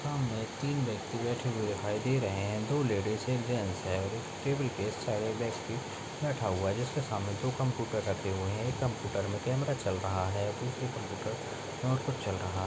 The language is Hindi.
सामने तीन व्यक्ति बैठे दिखाई दे रहे है दो लेडीज एक जेन्ट्स है और एक टेबल के साइड में बैठा हुआ है उसके सामने एक कम्प्यूटर में कैमरा चल रहा है दूसरे कम्प्यूटर में और कुछ चल रहा --